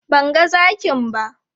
Ban ga zakin ba.